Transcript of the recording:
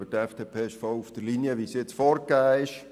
Aber die FDP liegt voll auf der Linie, die jetzt vorgegeben wurde.